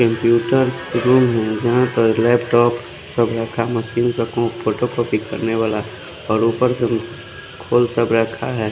Computer room है जहा पर लैपटॉप सब रखा मशीन से कु फोटोकॉपी करने वाला और उपर से वो खुल सब रखा है।